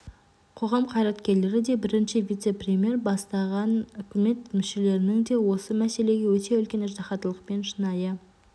қоғам қайраткерлері де бірінші вице-премьер бастаға үкімет мүшелерінің де осы мәселеге өте үлкен ыждахаттылықпен шынайы